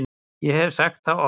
Ég hef sagt það oft.